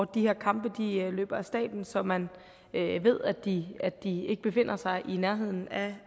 de her kampe løber af stabelen så man ved at de de ikke befinder sig i nærheden af